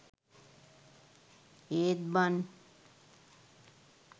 ඒත් බන්